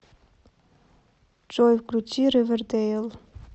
джой включи ривердейл